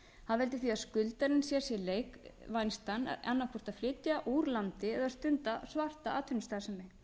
það veldur því að skuldarinn sér sér þann leik vænstan annaðhvort að flytja úr landi eða stunda svarta atvinnustarfsemi